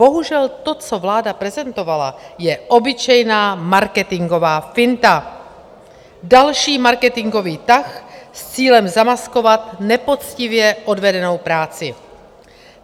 Bohužel to, co vláda prezentovala, je obyčejná marketingová finta, další marketingový tah s cílem zamaskovat nepoctivě odvedenou práci.